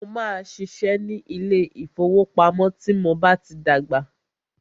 Mó máà ṣiṣẹ́ ní ilé ìfọwọ́pamo tí mo bá tí dàgbà.